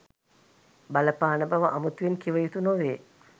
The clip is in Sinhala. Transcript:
බලපාන බව අමුතුවෙන් කිව යුතු නොවේ.